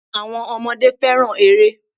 Àwọn ọmọdé fẹ́ràn eré.